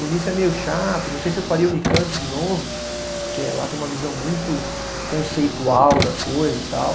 O início é meio chato, não sei se eu faria Unicamp de novo, porque lá tem uma visão muito conceitual da coisa e tal.